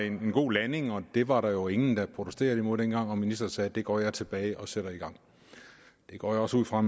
en god landing og det var der jo ingen der protesterede imod dengang og ministeren sagde det går jeg tilbage og sætter i gang det går jeg også ud fra